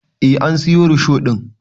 Eh an siyo risho ɗin